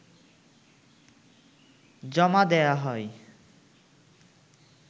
জমা দেয়া হয়